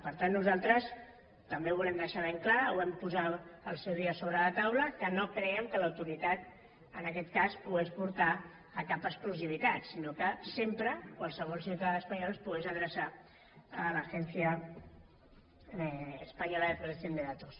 per tant nosaltres també ho volem deixar ben clar ho vam posar al seu dia sobre la taula que no creiem que l’autoritat en aquest cas pogués portar a cap exclusivitat sinó que sempre qualsevol ciutadà espanyol es pogués adreçar a l’agencia española de protección de datos